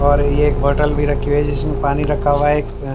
और ये एक बोतल भी रखी है जिसमें पानी रखा हुआ है एक--